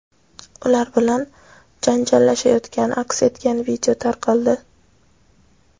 ular bilan janjallashayotgani aks etgan video tarqaldi.